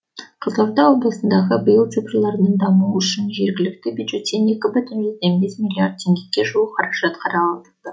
қызылорда облысындағы биыл цифрлардың дамуы үшін жергілікті бюджеттен екі бүтін жүзден бес миллиард теңгеге жуық қаражат қаралды